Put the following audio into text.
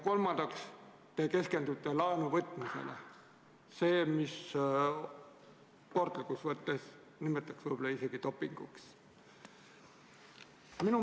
Kolmandaks, te keskendute laenuvõtmisele, sellele, mida sportlikus mõttes nimetatakse võib-olla isegi dopinguks.